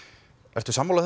ertu sammála